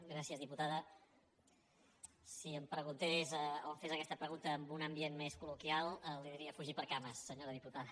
gràcies diputada si em preguntés o em fes aquesta pregunta en un ambient més colloquial li diria fugi per cames senyora diputada